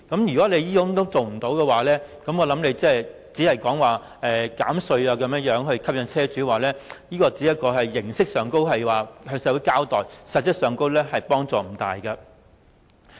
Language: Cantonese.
如果不能多提供充電設施，我認為政府提出減稅以吸引車主轉用電動車，只是形式上向社會交代，實質幫助並不大。